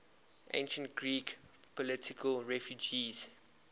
ancient greek political refugees